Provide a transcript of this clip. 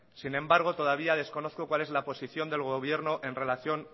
sin embargo todavía desconozco cuál es la posición del gobierno en relación